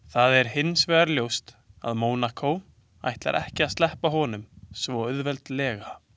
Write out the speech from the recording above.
Það hinsvegar ljóst að Mónakó ætlar ekki að sleppa honum svo auðveldlega.